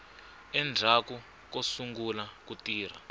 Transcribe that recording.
endzhaku ko sungula ku tirha